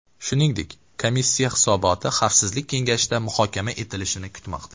Shuningdek, komissiya hisoboti Xavfsizlik kengashida muhokama etilishini kutmoqda.